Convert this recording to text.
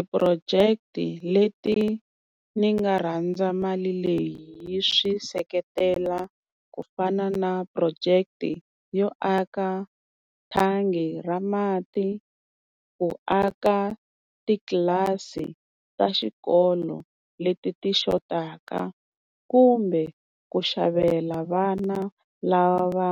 Ti-project-i leti ni nga rhandza mali leyi yi swi seketela, ku fana na project yo aka thangi ra mati, ku aka titlilasi ta xikolo leti ti xotaka. Kumbe ku xavela vana lava